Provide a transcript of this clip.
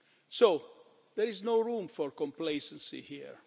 So there is no room for complacency here.